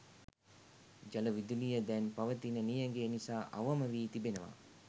ජල විදුලිය දැන් පවතින නියඟය නිසා අවම වී තිබෙනවා